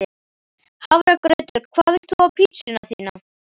Hafragraut Hvað vilt þú fá á pizzuna þína?